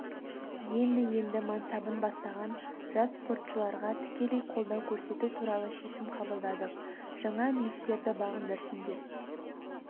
енді-енді мансабын бастаған жас спортшыларға тікелей қолдау көрсету туралы шешім қабылдадық жаңа биіктіктерді бағындырсын деп